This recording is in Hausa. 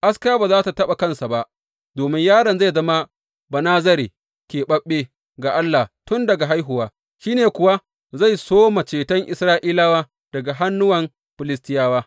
Aska ba za tă taɓa kansa ba, domin yaron zai zama Banazare, keɓaɓɓe ga Allah tun daga haihuwa, shi ne kuwa zai soma ceton Isra’ilawa daga hannuwan Filistiyawa.